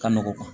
Ka nɔgɔn